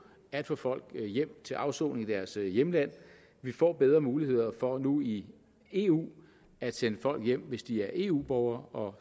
at få folk hjem til afsoning i deres hjemland vi får bedre muligheder for nu i eu at sende folk hjem hvis de er eu borgere